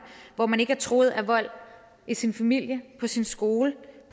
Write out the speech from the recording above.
hvor man ikke er truet af vold i sin familie på sin skole